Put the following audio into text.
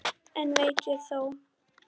En eitt veit ég þó.